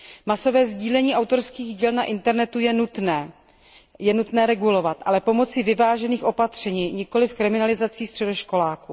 Masové sdílení autorských děl na internetu je nutné regulovat, ale pomocí vyvážených opatření, nikoli kriminalizací středoškoláků.